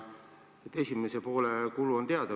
Esimese poole kulu on teada.